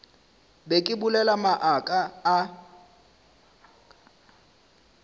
be ke bolela maaka a